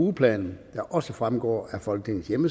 ugeplanen der også vil fremgå af folketingets